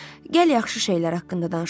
Gəl yaxşı şeylər haqqında danışaq.